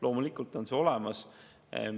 Loomulikult on see olemas.